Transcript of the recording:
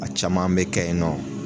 A caman bɛ kɛ ye nɔ.